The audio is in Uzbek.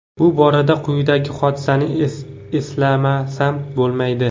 Bu borada quyidagi hodisani eslamasam bo‘lmaydi.